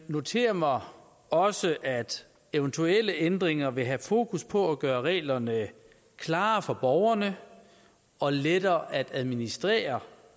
noterer mig også at eventuelle ændringer vil have fokus på at gøre reglerne klarere for borgerne og lettere at administrere